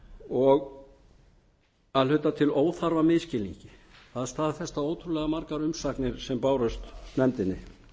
og að hluta til óþarfa misskilningi það staðfesta ótrúlega margar umsagnir sem bárust nefndinni